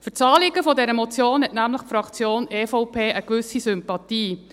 Für das Anliegen dieser Motion hat die Fraktion EVP nämlich eine gewisse Sympathie.